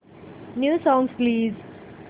new songs please